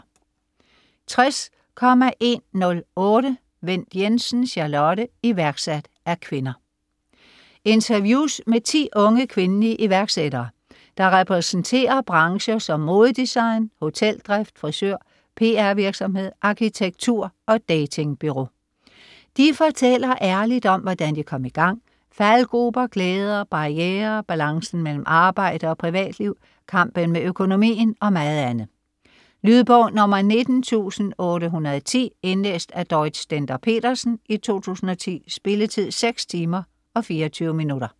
60.108 Wendt Jensen, Charlotte: Iværksat af kvinder Interviews med 10 unge, kvindelige iværksættere, der repræsenterer brancher som modedesign, hoteldrift, frisør, PR-virksomhed, arkitektur og datingbureau. De fortæller ærligt om, hvordan de kom i gang, faldgruber, glæder, barrierer, balancen mellem arbejde og privatliv, kampen med økonomien og meget andet. Lydbog 19810 Indlæst af Dorrit Stender-Petersen, 2010. Spilletid: 6 timer, 24 minutter.